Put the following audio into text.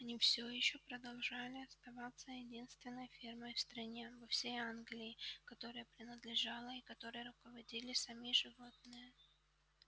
они все ещё продолжали оставаться единственной фермой в стране во всей англии которая принадлежала и которой руководили сами животные